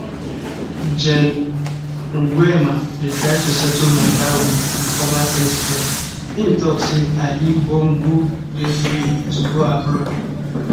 gen nguema dey try to settle mata wit di former president im tok say ali bongo dey free to go abroad